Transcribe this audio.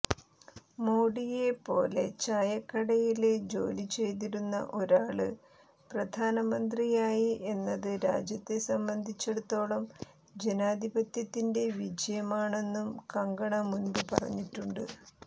മോഡിയെ പോലെചായക്കടയില് ജോലിചെയ്തിരുന്ന ഒരാള് പ്രധാനമന്ത്രിയായി എന്നത് രാജ്യത്തെ സംബന്ധിച്ചടുത്തോളം ജനാധിപത്യത്തിന്റെ വിജയമാണെന്നും കങ്കണ മുന്പ് പറഞ്ഞിട്ടുണ്ട്